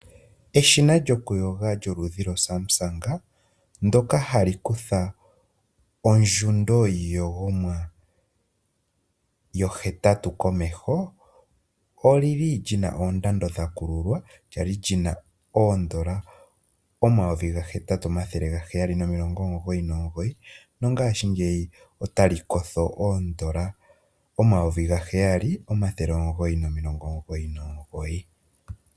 Eshina lyokuyoga lyoludhi lwoSumsang ndyoka ha li kutha ondjundo yiiyogomwa yohetatu komeho, oli li li na ondando ya kululwa, lya li lyi na N,$ 8 799, nongashingeyi ota li kotha N$ 7 999.